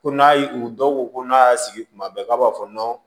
Ko n'a y' u dɔw ko ko n'a y'a sigi kuma bɛɛ k'a b'a fɔ